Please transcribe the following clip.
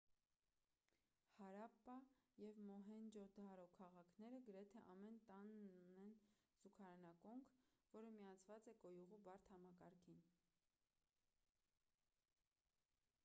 հարապպա և մոհենջո-դարո քաղաքները գրեթե ամեն տանն ունեն զուգարանակոնք որը միացված է կոյուղու բարդ համակարգին